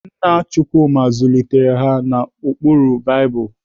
Nna Chukwuma zụlitere ha n'ụkpụrụ Baịbụl.